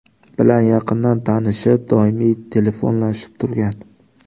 bilan yaqindan tanishib, doimiy telefonlashib turgan.